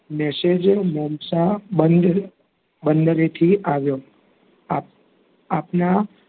message મોમસાં બંદર બંદરેથી આવ્યો આપ આપના,